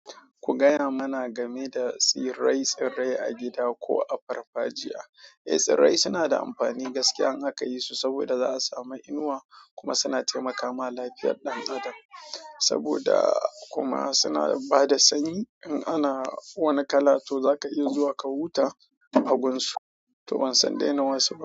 Ku gaya mana game da tsirai-tsirai a gida ko a farfajiya. Eh, tsirai suna da amfani gaskiya in aka yisu saboda za su sami inuwa kuma suna taimakawa lafiyar ɗan adam. Saboda kuma suna bada sanyi in ana wani kala to zaka iya zuwa ka huta a gunsu, to ban san daina wasu ba.